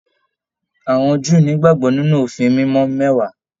Àwọn Júù ni ìgbàgbọ nínú òfin mímọ mẹwàá.